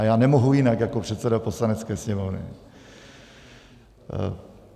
A já nemohu jinak jako předseda Poslanecké sněmovny.